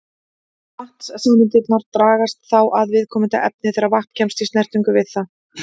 Vatnssameindirnar dragast þá að viðkomandi efni þegar vatn kemst í snertingu við það.